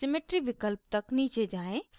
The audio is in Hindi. symmetry विकल्प तक नीचे जाएँ